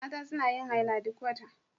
Mata suna yin haila duk wata.